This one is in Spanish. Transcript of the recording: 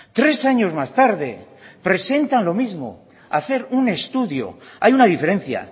tres años más tarde presentan lo mismo hacer un estudio hay una diferencia